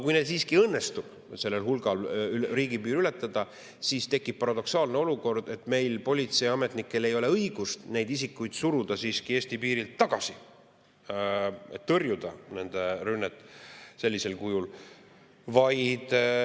Kui siiski õnnestub suurel hulgal inimestel riigipiir ületada, siis tekib paradoksaalne olukord, et meie politseiametnikel ei ole õigust neid Eesti piirilt tagasi suruda, et nende rünnet sellisel kujul tõrjuda.